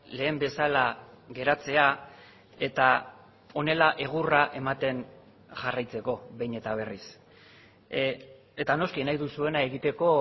lehen bezala geratzea eta honela egurra ematen jarraitzeko behin eta berriz eta noski nahi duzuena egiteko